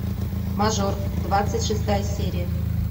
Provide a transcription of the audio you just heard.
мажор двадцать шестая серия